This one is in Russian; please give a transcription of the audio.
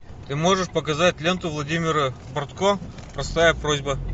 ты можешь показать ленту владимира бортко простая просьба